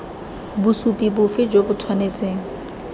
bosupi bofe jo bo tshwanetseng